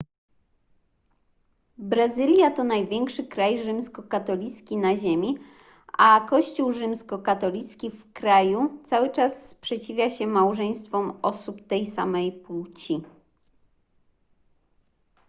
brazylia to największy kraj rzymskokatolicki na ziemi a kościół rzymskokatolicki w kraju cały czas sprzeciwia się małżeństwom osób tej samej płci